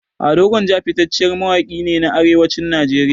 Ado gwanja fitacciyar mawaƙi ne a arewacin nigeria